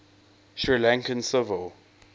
sri lankan civil